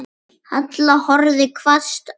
Halla horfði hvasst á mig.